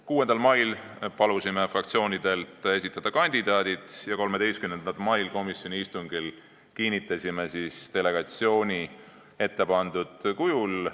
6. mail palusime fraktsioonidel esitada kandidaadid ja 13. mail komisjoni istungil kinnitasime delegatsiooni ettepandud kujul.